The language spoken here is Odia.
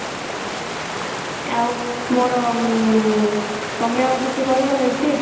ଆଉ ମୋର ଉଁ ତମେ ଆଉ କିଛି କହିବ health tips?